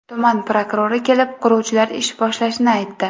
Tuman prokurori kelib, quruvchilar ish boshlashini aytdi.